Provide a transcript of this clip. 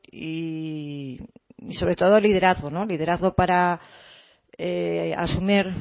y sobre todo liderazgo liderazgo para asumir